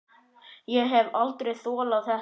Ég hef aldrei þolað þetta